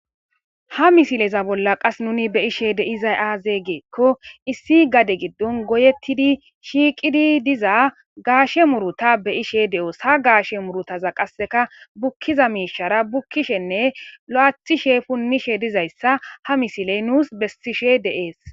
Ha missileza bola qas nun be'ishe dizaysi aze giko issi gade gidon goyetidi shiqidi diza gashe muruta be'ishe de'os ha gashe murutaza qaseka bukida mishara bukishenne lo'atishe punishe dizaysa ha missile nus besishe de'es.